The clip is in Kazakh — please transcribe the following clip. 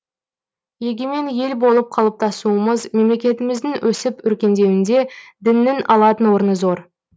егемен ел болып қалыптасуымыз мемлекетіміздің өсіп өркендеуінде діннің алатын орны зор